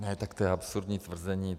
Ne, tak to je absurdní tvrzení.